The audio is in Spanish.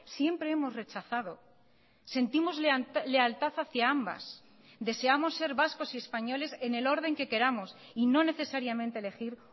siempre hemos rechazado sentimos lealtad hacia ambas deseamos ser vascos y españoles en el orden que queramos y no necesariamente elegir